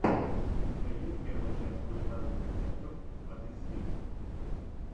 у тебя есть первая часть кулинарных рецептов от эсви